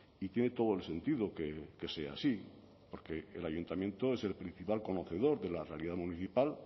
y tiene todo el sentido que sea así porque el ayuntamiento es el principal conocedor de la realidad municipal